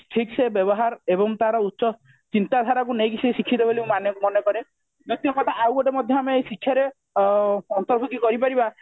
ଠିକ ସେ ବ୍ୟବହାର ଏବଂ ତାର ଉଚ୍ଚ ଚିନ୍ତାଧାରାକୁ ନେଇକି ସେ ଶିକ୍ଷିତ ବୋଲି ମୁଁ କରେ ମୁକ୍ଷ୍ୟ କଥା ଆଉ ଗୋଟେ ମଧ୍ୟ ଆମ ଏଇ ଶିକ୍ଷା ରେ ଅ ଅନ୍ତର୍ବୃଧି କରି ପାରିବା